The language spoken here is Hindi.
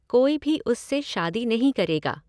कोई भी उससे शादी नहीं करेगा।